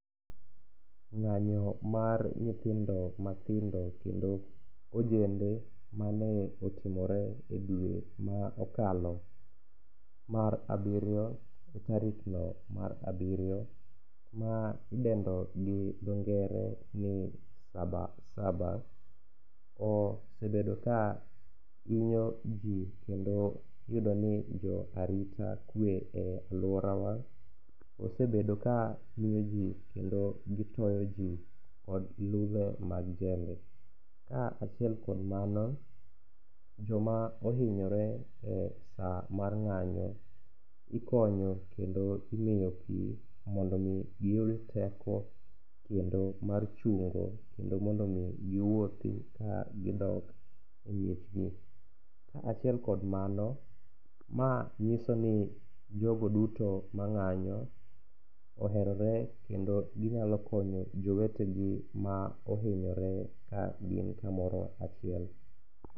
Ng'anyo mar nyithindo matindo kendo ojende mane otimore e diere ma okalo mar abiriyo ,e tarikno mar abiriyo ma idendo gi ndongere ni saba saba osebedo ka hinyo ji kendo iyudo ni jo arita kwe e alworawa osebedo ka hinyo ji kendo gitoyo ji kod ludhe mag jembe. Ka achiel kuom mano, joma ohinyore e sa mar ng'anyo ikonyo kendo imiyo pi mondo omi giyud teko kendo mar chungo kendo mondo omi giwuothi ka gidok e miechgi. Ka achiel kod mano, ma nyiso ni jogo duto ma ng'anyo oherore kendo ginyalo konyo jowetegi ma ohinyore ka gin kamoro achiel.